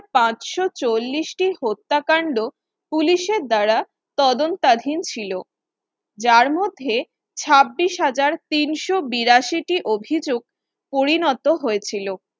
পাঁচশ চল্লিশ টি হত্যাকাণ্ড police এর দ্বারা তদন্তাধীন ছিল যার মধ্যে ছাব্বিশ হাজার তিনশ বিরাশি টি অভিযোগ পরিণত হয়েছিল